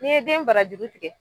Ni ye den barajuru tigɛ.